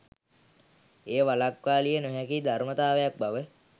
එය වළක්වාලිය නොහැකි ධර්මතාවක් බව